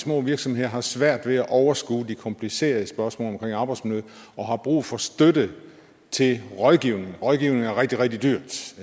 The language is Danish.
små virksomheder har svært ved at overskue de komplicerede spørgsmål omkring arbejdsmiljø og har brug for støtte til rådgivning rådgivning er rigtig rigtig dyrt